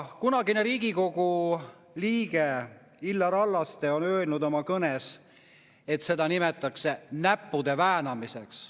Kunagine Riigikogu liige Illar Hallaste ütles oma kõnes, et seda nimetatakse näppude väänamiseks.